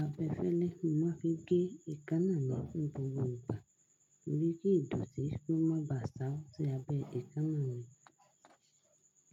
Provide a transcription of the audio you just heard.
abẹfẹ́lẹ́, màá fi gé ekanà mi ni gbogbo ìgbà, torí kí ìdọ̀tí kó má bá à ṣáá sí abẹ ekanà mi.